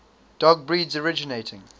dog breeds originating